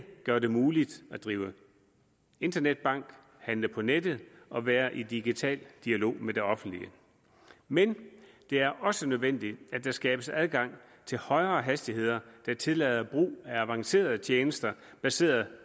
gør det muligt at drive internetbank handle på nettet og være i digital dialog med det offentlige men det er også nødvendigt at der skabes adgang til højere hastigheder der tillader brug af avancerede tjenester baseret